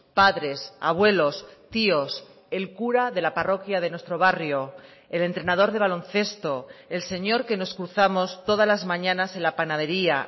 padres abuelos tíos el cura de la parroquia de nuestro barrio el entrenador de baloncesto el señor que nos cruzamos todas las mañanas en la panadería